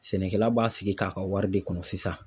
Sɛnɛkɛla b'a sigi k'a ka wari de kɔnɔ sisan.